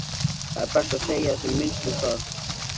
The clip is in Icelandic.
Það er best að segja sem minnst um það.